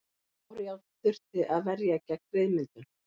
Bárujárn þurfti að verja gegn ryðmyndun.